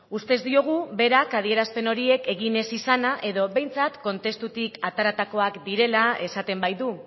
ustez diogu berak adierazpen horiek egin ez izana edo behintzat kontestutik ateratakoak direla esaten baitu